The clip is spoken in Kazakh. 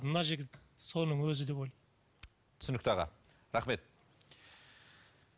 мына жігіт соның өзі деп ойлаймын түсінікті аға рахмет